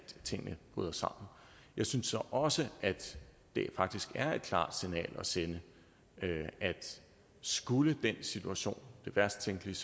tingene bryder sammen jeg synes så også at det faktisk er et klart signal at sende at skulle den situation det værst tænkelige